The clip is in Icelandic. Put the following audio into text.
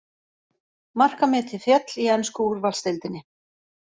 Markametið féll í ensku úrvalsdeildinni